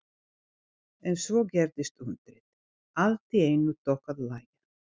En svo gerðist undrið: Allt í einu tók að lægja.